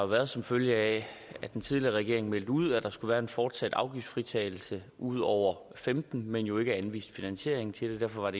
været som følge af at den tidligere regering meldte ud at der skulle være en fortsat afgiftsfritagelse ud over femten men jo ikke anviste finansiering til det derfor var